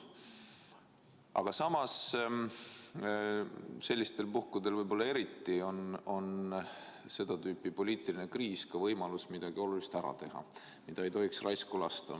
Aga samas on sellistel puhkudel, kui on seda tüüpi poliitiline kriis, ka võimalus midagi olulist ära teha ja seda ei tohiks lasta raisku minna.